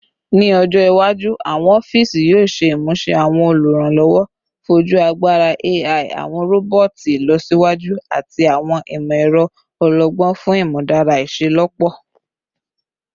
Ni ọjọ iwaju, awọn ọfiisi yoo ṣe imuse awọn oluranlọwọ foju agbara AI, awọn roboti ilọsiwaju, ati awọn imọ-ẹrọ ọlọgbọn fun imudara iṣelọpọ